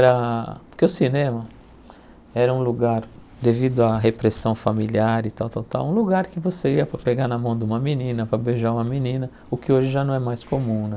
Porque o cinema era um lugar, devido à repressão familiar e tal tal tal, um lugar que você ia para pegar na mão de uma menina, para beijar uma menina, o que hoje já não é mais comum né.